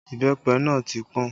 Ìbẹ́pẹ náà ti pọn